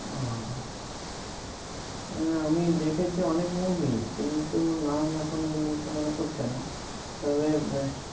ও আমি দেখেছি অনেক movie কিন্তু নাম এখন এই মুহূর্তে মনে পড়ছে না তবে